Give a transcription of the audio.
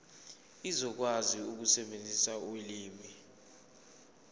uzokwazi ukusebenzisa ulimi